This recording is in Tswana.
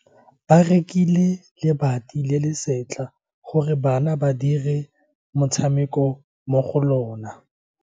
Ba rekile lebati le le setlha gore bana ba dire motshameko mo go lona.